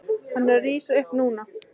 Hann er að rísa upp núna.